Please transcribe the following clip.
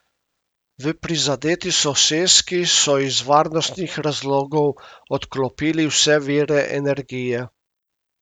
V prizadeti soseski so iz varnostnih razlogov odklopili vse vire energije.